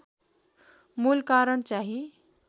मूल कारण चाहिँ